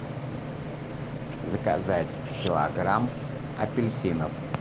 заказать килограмм апельсинов